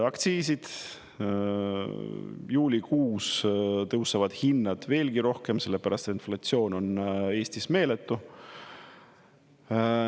Aktsiisid, juulikuus tõusevad hinnad veelgi rohkem, sellepärast et inflatsioon on Eestis meeletu.